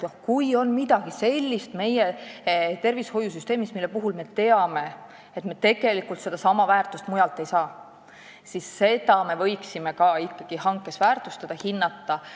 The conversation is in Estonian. Kui meie tervishoiusüsteemis on midagi sellist, mille puhul me teame, et me sedasama väärtust mujalt ei saa, siis me võiksime seda ka hankes väärtustada ja hinnata.